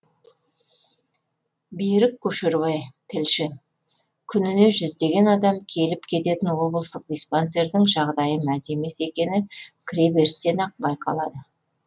берік көшербай тілші күніне жүздеген адам келіп кететін облыстық диспансердің жағдайы мәз емес екені кіреберісінен ақ байқалады